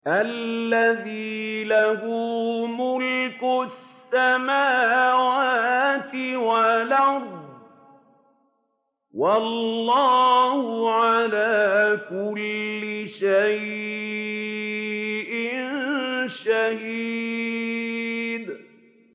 الَّذِي لَهُ مُلْكُ السَّمَاوَاتِ وَالْأَرْضِ ۚ وَاللَّهُ عَلَىٰ كُلِّ شَيْءٍ شَهِيدٌ